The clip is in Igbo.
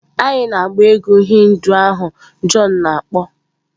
Anyị na-agba egwú Hindu ahụ john na-akpọ.